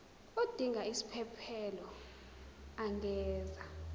odinga isiphesphelo angenza